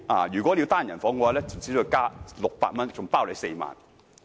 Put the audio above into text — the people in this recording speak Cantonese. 如要入住單人房，另加600元，行程共4晚。